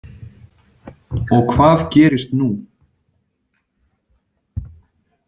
Og hvað gerist nú?